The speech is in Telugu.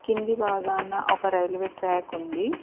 కింది భాగాన ఒక రైల్వే ట్రాక్ ఉంది.